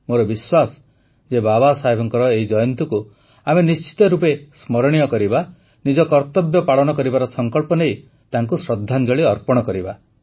ମୋର ବିଶ୍ୱାସ ଯେ ବାବାସାହେବଙ୍କ ଏହି ଜୟନ୍ତୀକୁ ଆମେ ନିଶ୍ଚିତ ରୂପେ ସ୍ମରଣୀୟ କରିବା ନିଜ କର୍ତ୍ତବ୍ୟ ପାଳନ କରିବାର ସଙ୍କଳ୍ପ ନେଇ ତାଙ୍କୁ ଶ୍ରଦ୍ଧାଞ୍ଜଳି ଅର୍ପଣ କରିବା